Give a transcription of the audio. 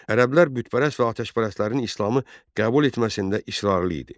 Ərəblər bütpərəst və atəşpərəstlərin İslamı qəbul etməsində israrlı idi.